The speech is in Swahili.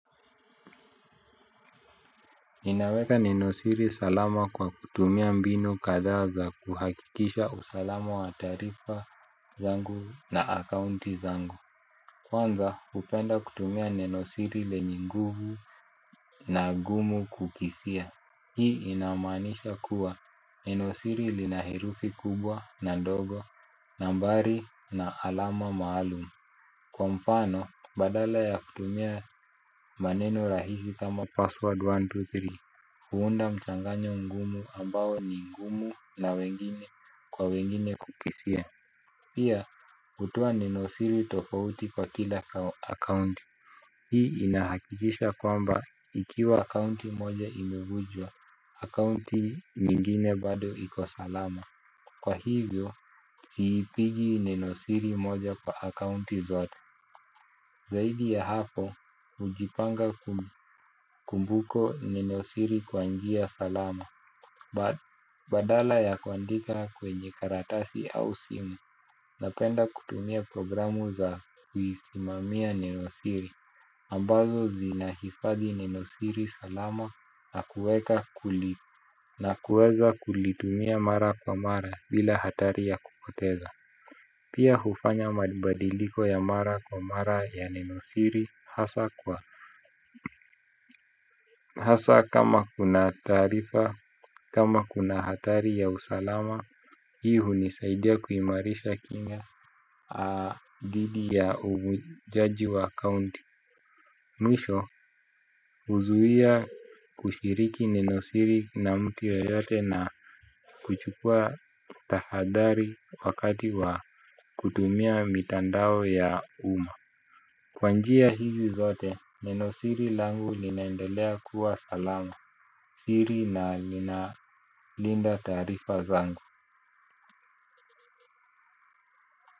Ninaweka nenosiri salama kwa kutumia mbinu kadhaa za kuhakikisha usalama wa taarifa zangu na akaunti zangu. Kwanza hupenda kutumia nenosiri lenye nguvu na ngumu kukisia. Hii inamaanisha kuwa nenosiri lina herufi kubwa na ndogo nambari na alama maalumu. Kwa mfano, badala ya kutumia maneno rahisi kama password123 huunda mchanganyo mgumu ambao ni ngumu na wengine kwa wengine kukisia. Pia, hutoa nenosiri tofauti kwa kila akaunti. Hii inahakikisha kwamba ikiwa akaunti moja imevunjwa, akaunti nyingine bado iko salama. Kwa hivyo, siiipigi nenosiri moja kwa akaunti zote zaidi ya hapo. Hujipanga kumbuko nenosiri kwa njia salama badala ya kuandika kwenye karatasi au simu napenda kutumia programu za kuisimamia nenosiri ambazo zinahifadhi nenosiri salama na kuweza kulitumia mara kwa mara bila hatari ya kupoteza. Pia hufanya mabadiliko ya mara kwa mara ya nenosiri hasa kwa hasa kama kuna taarifa, kama kuna hatari ya usalama hii hunisaidia kuimarisha kinga dhidi ya uvunjaji wa akaunti. Mwisho huzuia kushiriki nenosiri na mtu yeyote na kuchukua tahadhari wakati wa kutumia mitandao ya umma. Kwa njia hizi zote nenosiri langu linaendelea kuwa salama siri na ninalinda taarifa zangu.